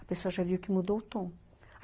A pessoa já viu que mudou o tom.